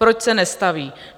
Proč se nestaví?